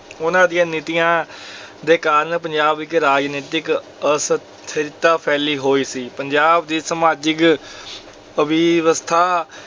ਉਹਨਾਂ ਦੀਆਂ ਨੀਤੀਆਂ ਦੇ ਕਾਰਨ ਪੰਜਾਬ ਵਿੱਚ ਰਾਜਨੀਤਿਕ ਅਸਥਿਰਤਾ ਫੈਲੀ ਹੋਈ ਸੀ, ਪੰਜਾਬ ਦੀ ਸਮਾਜਿਕ